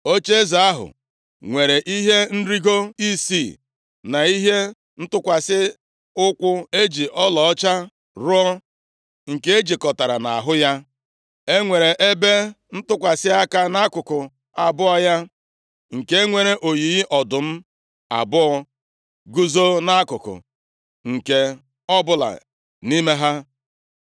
Ocheeze ahụ nwere ihe nrigo isii na ihe ịtụkwasị ụkwụ eji ọlaọcha rụọ nke ejikọtara nʼahụ ya. E nwere ebe ntụkwasị aka nʼakụkụ abụọ ya, nke nwere oyiyi ọdụm abụọ guzo nʼakụkụ nke ọbụla nʼime ha.